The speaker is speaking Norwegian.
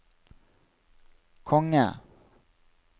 konge